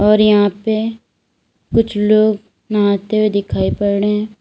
और यहां पर कुछ लोग नहाते हुए दिखाई पड़ रहे हैं।